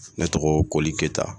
Ne tɔgɔ Koli Keyita